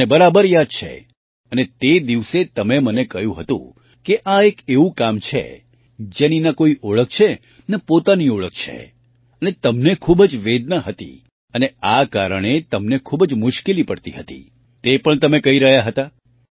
મને બરાબર યાદ છે અને તે દિવસે તમે મને કહ્યું હતું કે આ એક એવું કામ છે જેની ન કોઈ ઓળખ છે ન પોતાની ઓળખ છે અને તમને ખૂબ જ વેદના હતી અને આ કારણે તમને ખૂબ જ મુશ્કેલી પડતી હતી તે પણ તમે કહી રહ્યા હતા